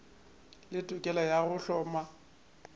le tokelo ya go hloma